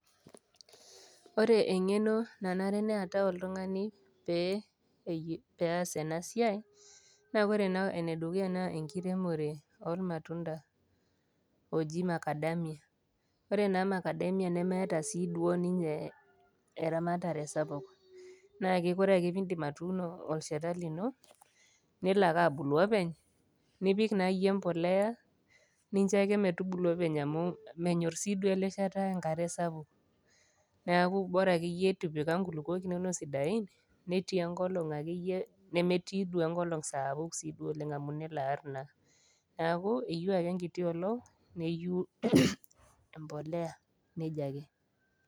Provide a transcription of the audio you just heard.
Ore engf'eno nanare pee eatau oltung'ani pee eas ena siai, naa ore naa ene dukuya naa enkiremore, oolmatunda ooji Makadamia. Ore sii Makadamia nemeata sii duo ninye, eramatare sapuk, naake ore ake pee indip atuuno olsheta lino, nelo ake abulu openy, nipik naa iyie empolea, nincho naake metubulu openy amu menyor sii duo ele sheta enkare sapuk. Neaku boraa ake iyie ipipika inkulukuok inono sidain, netii enkolong' ake iyie nemetii enkolong' saapuk, sii duo oleng' amu nelo aar kuna, neaku eyou ake enkiti olong' neyou empolea, neija ake.